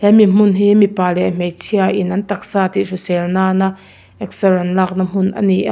hemi hmun hi mipa leh hmeichhia in an taksa hrisel nan a exer an lakna hmun a ni a.